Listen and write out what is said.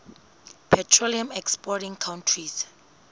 petroleum exporting countries